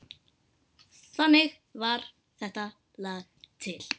Þannig varð þetta lag til.